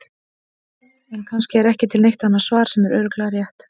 En kannski er ekki til neitt annað svar sem er örugglega rétt.